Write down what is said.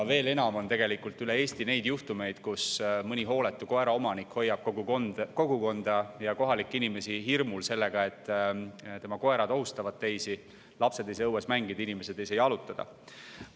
Veel enam on üle Eesti neid juhtumeid, kui mõni hooletu koeraomanik hoiab kogukonda ja kohalikke inimesi hirmu all sellega, et tema koerad ohustavad teisi, ning lapsed ei saa seetõttu õues mängida, inimesed ei saa jalutada.